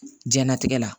Jɛnatigɛ la